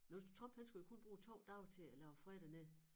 Nu Trump han skulle jo kun bruge 2 dage til at lave fred dernede